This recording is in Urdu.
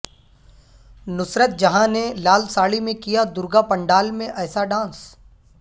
نصرت جہاں نے لال ساڑی میں کیا درگا پنڈال میں ایسا ڈانس